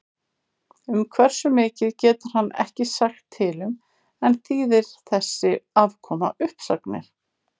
Um hversu mikið getur hann ekki sagt til um en þýðir þessi afkoma uppsagnir?